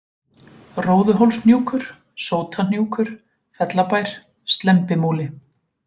Róðuhólshnjúkur, Sótahnjúkur, Fellabær, Slembimúli